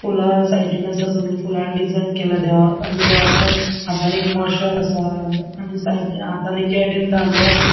फुला साइडीन आसा सगळी फुलां डिजाइन केला देवाक आणि देवाच्या हातान एक मशाल आसा आणि सै हातान एके सायडींन दांडो आसा.